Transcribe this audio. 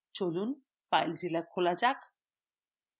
চলুন filezilla খোলা যাক